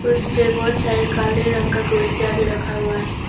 उसपे बहुत सारे काले रंग का कुर्सियां भी रखा हुआ है।